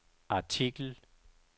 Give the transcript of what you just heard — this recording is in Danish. artikel